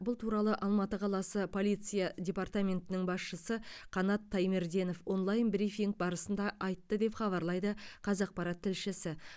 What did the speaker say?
бұл туралы алматы қаласы полиция департаментінің басшысы қанат таймерденов онлайн брифинг барысында айтты деп хабарлайды қазақпарат тілшісі